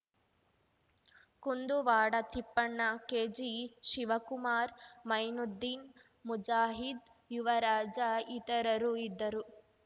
ಕುಂದುವಾಡ ತಿಪ್ಪಣ್ಣ ಕೆಜಿಶಿವಕುಮಾರ್ ಮೈನುದ್ದೀನ್‌ ಮುಜಾಹಿದ್‌ ಯುವರಾಜ ಇತರರು ಇದ್ದರು